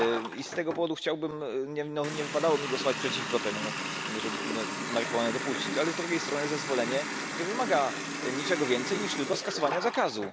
I z tego powodu nie wypadało mi głosować przeciwko temu, żeby marihuanę dopuścić, ale z drugiej strony zezwolenie nie wymaga niczego więcej niż tylko skasowania zakazu.